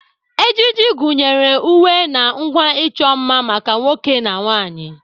Ejiji gụnyere uwe na ngwa icho nma maka nwoke na nwanyị.